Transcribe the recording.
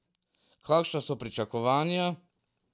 Kakšna so pričakovanja?